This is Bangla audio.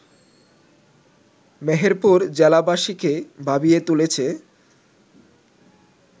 মেহেরপুর জেলাবাসীকে ভাবিয়ে তুলেছে